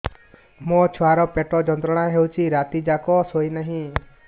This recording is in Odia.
ମୋ ଛୁଆର ପେଟ ଯନ୍ତ୍ରଣା ହେଉଛି ରାତି ଯାକ ଶୋଇନାହିଁ